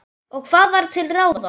Og hvað var til ráða?